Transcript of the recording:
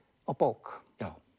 á bók